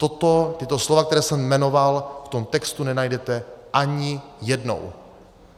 A tato slova, která jsem jmenoval, v tom textu nenajdete ani jednou.